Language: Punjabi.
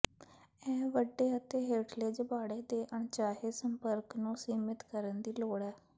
ਇਹ ਵੱਡੇ ਅਤੇ ਹੇਠਲੇ ਜਬਾੜੇ ਦੇ ਅਣਚਾਹੇ ਸੰਪਰਕ ਨੂੰ ਸੀਮਿਤ ਕਰਨ ਦੀ ਲੋੜ ਹੈ